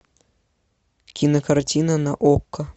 кинокартина на окко